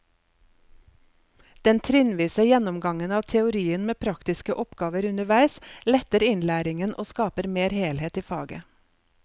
Den trinnvise gjennomgangen av teorien med praktiske oppgaver underveis letter innlæringen og skaper mer helhet i faget.